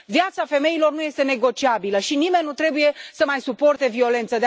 Viața femeilor nu este negociabilă și nimeni nu trebuie să mai suporte violență.